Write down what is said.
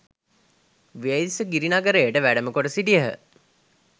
වේදිස ගිරිනගරයට වැඩම කොට සිටියහ.